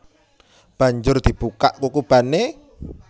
Banjur dibukak kukubané